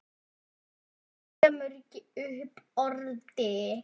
Hann kemur ekki upp orði.